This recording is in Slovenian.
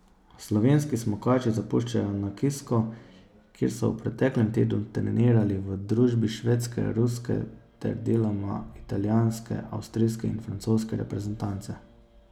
Slovenski smukači zapuščajo Nakisko, kjer so v preteklem tednu trenirali v družbi švedske, ruske ter deloma italijanske, avstrijske in francoske reprezentance.